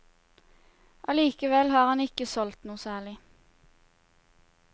Allikevel har han ikke solgt noe særlig.